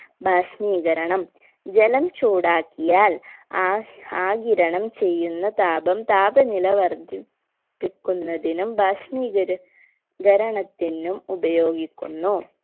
ബാഷ്‌മീകരണം ജലം ചൂടാക്കിയാൽ ആ ആഗിരണം ചെയ്യുന്ന താപം താപനില വർധിപ്പി ക്കുന്നതിനും ബാഷ്‌മീകര കരണത്തിനും ഉപയോഗിക്കുന്നു